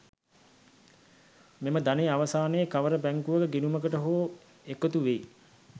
මෙම ධනය අවසානයේ කවර බැංකුවක ගිණුමකට හෝ එකතු වෙයි.